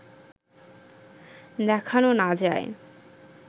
দেখানো না যায়